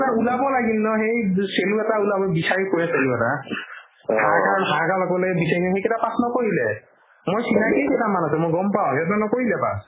ওলাব লাগিল ন সেই চেলু এটা ওলাব বিচাৰি ফুৰে চেলু এটা harder অকলে দিছে সি সেইকাৰণে pass নকৰিলে মই চিনাকি কেইটামান আছে মই গম পাও সিহঁতে নকৰিলে pass